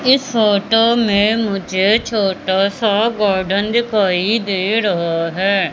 इस फोटो में मुझे छोटा सा गार्डन दिखाई दे रहा है।